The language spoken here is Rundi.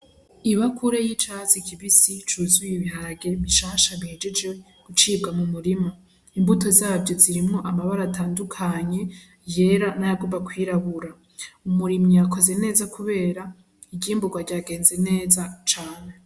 Ibakure y'icatsi kibisi cuzuye ibiharage bishasha bihejeje gucibwa mu murima, imbuto zavyo zirimwo amabara atandukanye yera n'ayagomba kwirabura, umurimyi yakoze neza Kubera iyimburwa ryagenze neza cane .